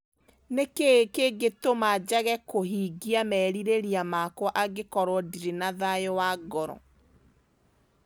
Nĩ kĩĩ kĩngĩtũma njage kũhingia merirĩria makwa angĩkorũo ndirĩ na thayũ wa ngoro?